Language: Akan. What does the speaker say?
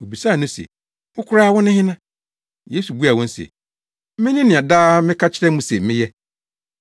Wobisaa no se, “Wo koraa wone hena?” Yesu buaa wɔn se, “Mene nea daa meka kyerɛ mo se meyɛ.